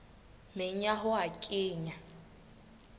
meng ya ho a kenya